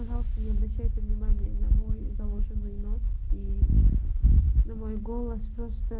не обращайте внимания на мой заложенный нос и на мой голос